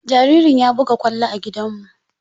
Jaririn ya buga kwallo a gidan mu.